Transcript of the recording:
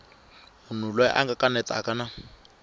munhu loyi a kanetaka na